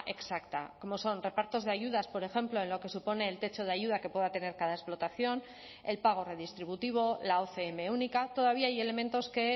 exacta como son repartos de ayudas por ejemplo en lo que supone el techo de ayuda que pueda tener cada explotación el pago redistributivo la ocm única todavía hay elementos que